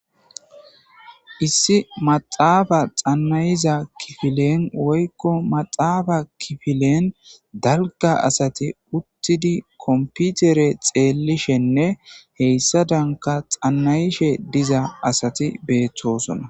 Issi maxaafa xannayiza kifilen woykko maxaafa kifilen dalga asati uttidi komputere xeelishenne heyssa danka xannayishe diza asati beettosona.